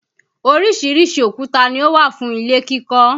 Oríṣiríṣi òkúta ni ó wà fún ilé kíkọ́